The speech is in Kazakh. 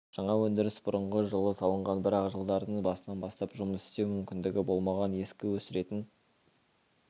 жаңа өндіріс бұрынғы жылы салынған бірақ жылдардың басынан бастап жұмыс істеу мүмкіндігі болмаған ескі өсіретін